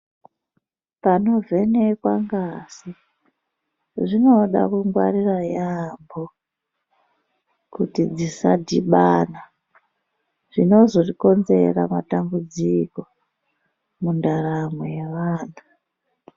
Panovhenekwa ngazi zvinoda kungwarira yaamho kuti dzisadhibana zvinozokonzera matambudziko mundaramo yevantu.